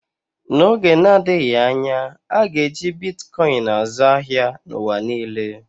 N'oge na-adịghị anya, a ga-eji Bitkọin azụ ahịa n'ụwa niile.